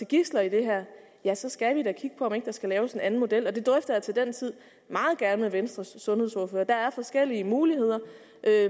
gidsler i det her ja så skal vi da kigge på om ikke der skal laves en anden model det drøfter jeg til den tid meget gerne med venstres sundhedsordfører der er forskellige muligheder